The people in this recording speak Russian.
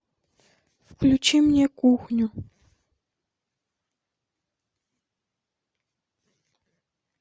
включи мне кухню